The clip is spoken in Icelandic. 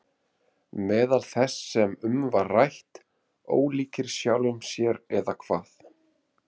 Meðal þess sem um var rætt: Ólíkir sjálfum sér eða hvað?